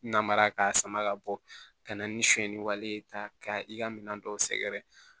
Namara k'a sama ka bɔ ka na ni sonyɛni wale ye ka i ka minɛn dɔw sɛgɛrɛ